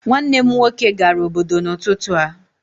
Nwanne m nwoke gara obodo n'ụtụtụ a